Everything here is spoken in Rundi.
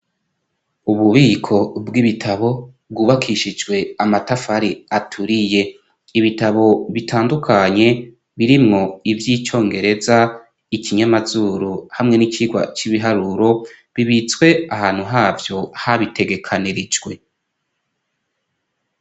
Ububiko bw'ibitabo, bwubakishijwe amatafari aturiye. Ibitabo bitandukanye, birimwo ivy'icongereza, ikinyamazuru, hamwe n'icigwa c'ibiharuro, bibitswe ahantu havyo, habitegekanirijwe.